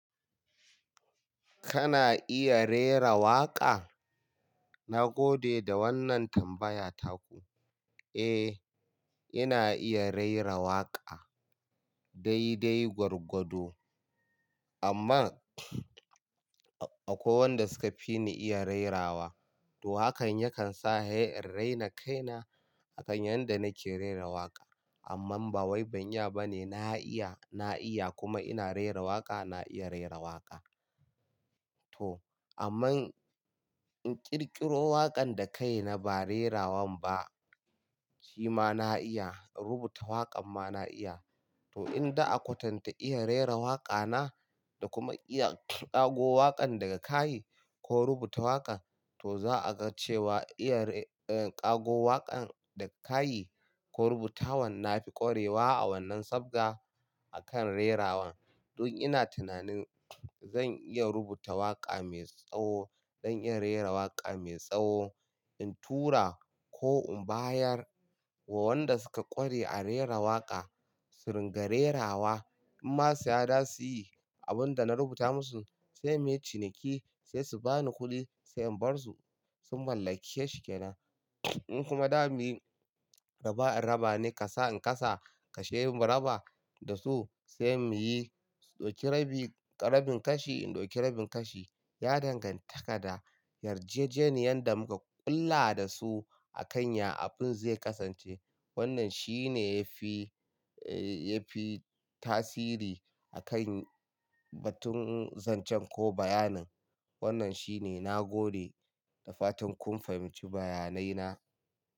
Kana iya rera waƙa? Na gode da wannan tambaya taku. Eh, ina iya rera waƙa. Dai dai gwargwado. Amma akwai wanda suka fi ni iya rera wa. To hakan yakan sa har in raina kaina akan yanda nake rera waƙa. Amman ba wai ban iya ba ne. Na iya, na iya kuma ina rera waƙa. Na iya rera waƙa. To, amman in ƙirƙiro waƙan da kaina ba rerawan ba, shi ma na iya. Rubuta waƙan ma na iya. To in da a kwatanta iya rera waƙa na da kuma iya ƙago waƙan daga kai ko rubuta waƙa, to za a ga cewa iya re-- ƙago waƙan daga kai ko rubuta wan na fi ƙwarewa a wannan safga a kan rerawan. Dun ina tunanin zan iya rubuta waƙa mai tsawo don in rera waƙa mai tsawo. In tura ko in bayar wa wanda suka ƙware a rera waƙa su ringa rerawa. In ma si ya da su yi abun da na rubuta musu, sai muyi ciniki sai su bani kuɗi sai in bar su. Sun mallake shi ke nan. In kuma da mi raba in raba ne ka sa in kasa kashemu raba da su sai mu yi, sudauki rabi, karabin kashi in dauki rabin kashi. Ya danganta ka da yarjejeniyar da muka ƙulla da su a kan ya abun zai ƙasance. Wannan shi ne ya fi, ya fi tasiri a kan batun zancen ko bayanin. Wannan shi ne na gode da fatan kun fahimci bayanai na.